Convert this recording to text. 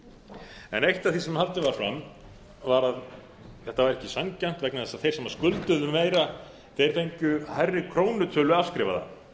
þeirra nýju eitt af því sem haldið var fram var að þetta væri ekki sanngjarnt vegna þess að þeir sem skulduðu meira fengju hærri krónutölu afskrifaða